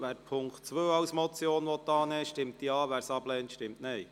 Wer den Punkt 2 als Motion annehmen will, stimmt Ja, wer es ablehnt, stimmt Nein.